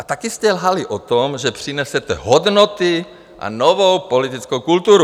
A taky jste lhali o tom, že přinesete hodnoty a novou politickou kulturu.